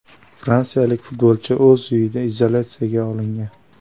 Fransiyalik futbolchi o‘z uyida izolyatsiyaga olingan.